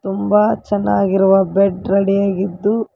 ತುಂಬ ಚೆನ್ನಾಗಿರುವ bed ready ಯಾಗಿದ್ದು--